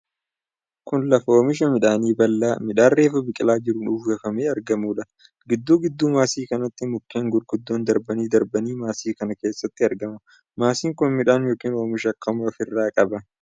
Kun lafa oomisha midhaanii bal'aa, midhaan reefu biqilaa jiruun uwwifamee argamudha. Gidduu gidduu maasii kanaatti mukkeen gurguddoon darbanii darbanii maasii kana keessatti argamu. Maasiin kun midhaan yookiin oomisha akkamii of irraa qaba?